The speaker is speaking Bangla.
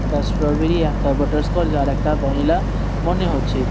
একটা স্ট্রবেরি একটা বাটারস্কচ আর একটা ভ্যানিলা মনে হচ্ছে।